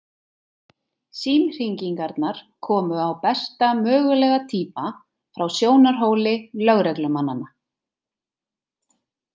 Símhringingarnar komu á besta mögulega tíma frá sjónarhóli lögreglumannanna.